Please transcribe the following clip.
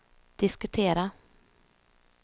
diskutera